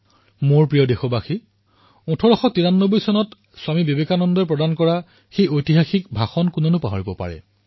মোৰ মৰমৰ দেশবাসীসকল ১১ ছেপ্টেম্বৰ ১৮৯৩ চনৰ স্বামী বিবেকানন্দজীৰ ঐতিহাসিক ভাষণৰ বিষয়ে কোনো পাহৰিব পাৰে